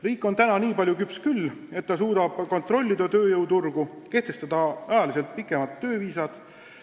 Riik on nii palju küps küll, et suudab tööjõuturgu kontrollida, kehtestades muu hulgas pikemad tööviisad.